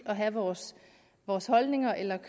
og have vores vores holdninger eller